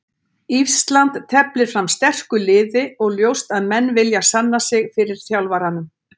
Ísland teflir fram sterku liði og ljóst að menn vilja sanna sig fyrir þjálfaranum.